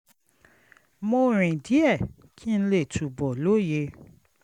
mo rìn díẹ̀ kí n lè túbọ̀ lóye